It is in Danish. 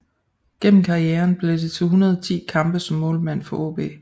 Gennem karrieren blev det til 110 kampe som målmand for AaB